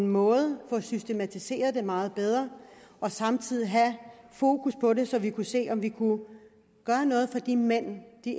måde få det systematiseret meget bedre og samtidig have fokus på det så vi kunne se om vi kunne gøre noget for de mænd de